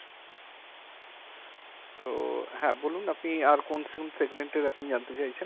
তো হ্যাঁ বলুন আপনি আর কোন শোন segment জানতে চাইছেন?